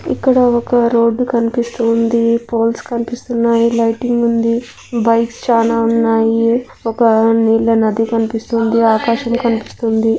ఇక్కడ ఒక రోడ్డు కనిపిస్తూ ఉంది పోల్స్ కనిపిస్తున్నాయి లైటింగ్ ఉంది బైక్స్ చానా ఉన్నాయి ఒక నీళ్ళ నది కనిపిస్తుంది ఆకాశం కనిపిస్తుంది.